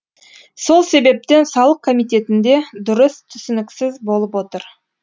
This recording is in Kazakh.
сол себептен салық комитетінде дұрыс түсініксіз болып отыр